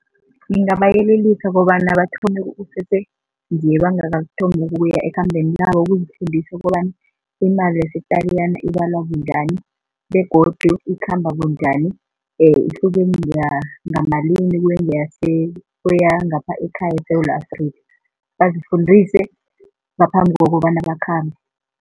Ngingabayelelisa kobana bathome kusese nje bangakathomi ukuya ekhambeni labo ukuzifundisa kobana imali yase-Tariyana bonyana ibalwa bunjani begodu ikhamba kunjani ihluke ngamalini kweyangapha ekhaya eSewula Afrika, bazifundise ngaphambi kokobana bakhambe.